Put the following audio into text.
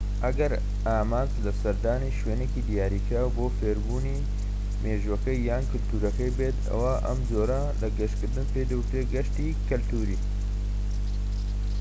ئەگەر ئامانج لە سەردانی شوێنێکی دیاریکراو بۆ فێربوونی مێژووەکەی یان کەلتورەکەی بێت ئەوا ئەم جۆرە لە گەشت پێی دەوترێت گەشتی کەلتوری